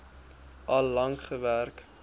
al lank gewerk